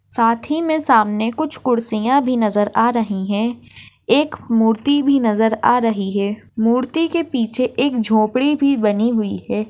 साथ ही मे सामने कुछ कुर्सिया भी नजर आ रही है एक मूर्ति भी नजर आ रही है मूर्ति के पीछे एक झोपड़ी भी बनी हुई है।